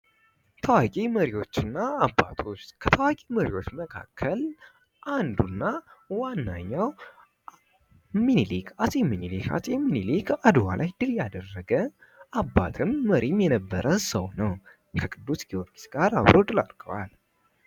ታዋቂ መሪዎች እና አባቶች፦ ከታዋቂ መሪዎች እና አባቶች መካከል አንዱ እና ዋነኛው ሚኒሊክ አጼ ሚኒሊክ ነው። አጼ ሚኒሊክ አድዋ ላይ ድል ያደረገ አባትም መሪም የነበረ ሰው ነው። ከቅዱስ ጊወርጊስ ጋር አብረው ድል አድርገዋል።